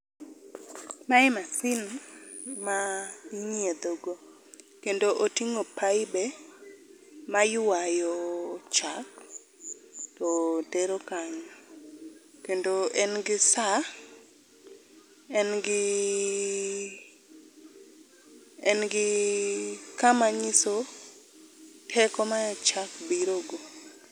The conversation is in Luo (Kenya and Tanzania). Mae masin ma inyiedho go kendo otingo paibe ma ywayo chak to tero kanyo kendo en gi saa, en gi , en gi kama nyiso teko ma chak birogo